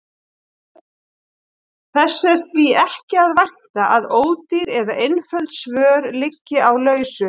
Þess er því ekki að vænta að ódýr eða einföld svör liggi á lausu.